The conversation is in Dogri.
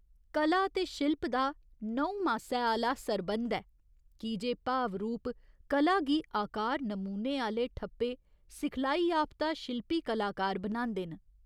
कला ते शिल्प दा नहुं मासै आह्‌ला सरबंध ऐ की जे भाव रूप कला गी आकार नमूने आह्‌ले ठप्पे सिखलाईयाफ्ता शिल्पी कलाकार बनांदे न।